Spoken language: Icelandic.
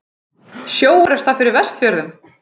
Sjóorrusta fyrir Vestfjörðum?